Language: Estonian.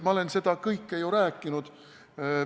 Ma olen seda kõike ju rääkinud.